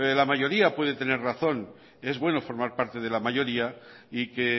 la mayoría puede tener razón es bueno formar parte de la mayoría y que